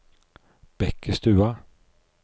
Bekkestua